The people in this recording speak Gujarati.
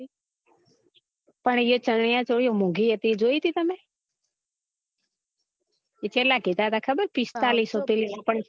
પણ એ ચાણીયાચોલી ઓ મોગી હતી એ જોઈ તી તમે એ ચેત્લા કીધા હતા ખબર છે પીસ્તાલીસો